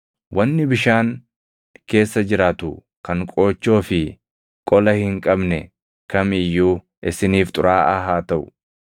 Wanni bishaan keessa jiraatu kan qoochoo fi qola hin qabne kam iyyuu isiniif xuraaʼaa haa taʼu.